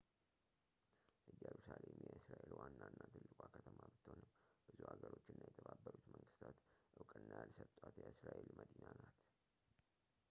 እየሩሳሌም የእስራኤል ዋናና ትልቋ ከተማ ብትሆንም ብዙ ሀገሮች እና የተባበሩት መንግስተታት እውቅና ያልሰጧት የእስራኤል መዲና ናት